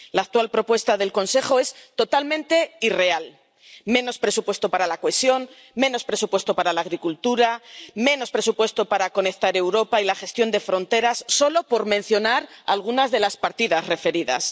La actual propuesta del Consejo es totalmente irreal menos presupuesto para la cohesión, menos presupuesto para la agricultura, menos presupuesto para conectar Europa y la gestión de fronteras, solo por mencionar algunas de las partidas referidas.